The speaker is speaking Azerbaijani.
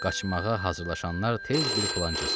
Qaçmağa hazırlaşanlar tez bir plan cızdılar.